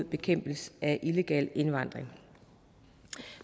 bekæmpelse af illegal indvandring